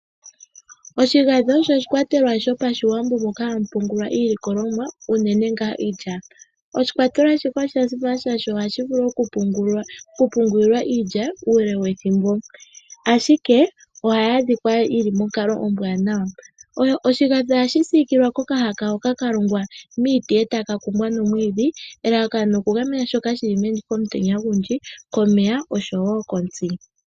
Oshigadhi osho oshikwatelelwa shopashiwambo moka hamu pungulwa iilikololwa unene ngaa iilya. Oshikwatelelwa shika osha simana, oshoka nohashi vilu okupungulilwa iilya uule wethimbo. Ashike, ohayi adhika yi li monkalo ombwaanawa. Oshigadhi ohashi siikilila kokahaka hoka ka longwa miiti e taka kumbwa noomwiidhi, elalakano okugamena shoka shili meni komutenya ogundji, komeya noshowo kontsi.